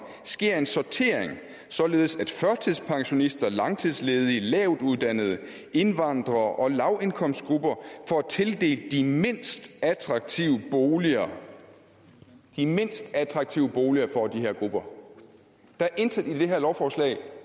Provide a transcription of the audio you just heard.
sker en sortering således at førtidspensionister langtidsledige lavtuddannede indvandrere og lavindkomstgrupper får tildelt de mindst attraktive boliger de mindst attraktive boliger får de her grupper der er intet i det her lovforslag